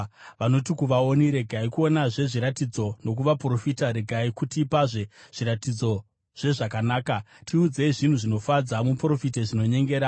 Vanoti kuvaoni, “Regai kuonazve zviratidzo!” nokuvaprofita, “Regai kutipazve zviratidzo zvezvakanaka! Tiudzei zvinhu zvinofadza, muprofite zvinonyengera.